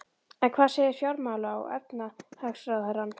En hvað segir fjármála- og efnahagsráðherrann?